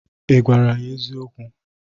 Ị gwara ya eziokwu?